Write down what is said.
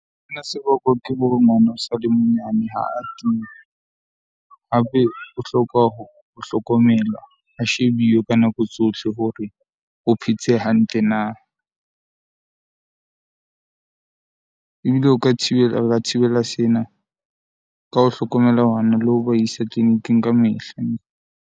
Sena se bakwa ke bo mosadi monyane ha a teng, hape o hloka ho hlokomelwa a shebiwe ka nako tsohle hore o phetse hantle na . Ebile o ka thibela o ka thibela sena ka ho hlokomela le ho ba isa tleliniking kamehla.